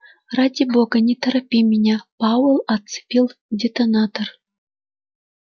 ради бога не торопи меня пауэлл отцепил детонатор